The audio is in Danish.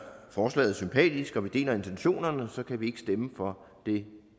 forslaget sympatisk og deler intentionerne kan vi ikke stemme for det